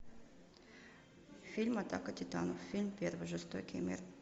фильм атака титанов фильм первый жестокий мир